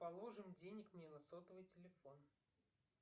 положим денег мне на сотовый телефон